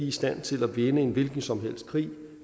i stand til at vinde en hvilken som helst krig